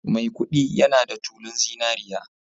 Maikudi yana da tulun zinariya